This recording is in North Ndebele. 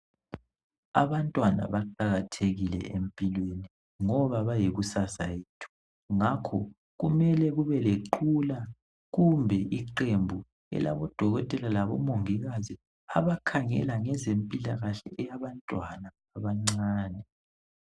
Abantwana baqakathekile empilweni ngoba bayikusasa yethu ngakho kumele kube leqhula kumbe iqembu elabo dokotela labomongikazi abakhangela ngezempilakahle eyabantwana abancane